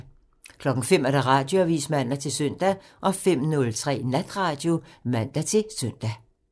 05:00: Radioavisen (man-søn) 05:03: Natradio (man-søn)